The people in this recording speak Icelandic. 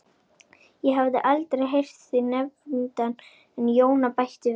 Ég hafði aldrei heyrt þig nefndan en Jóna bætti við